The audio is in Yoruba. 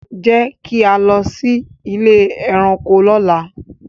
Jẹ ki a lọ si ile ẹranko lọla.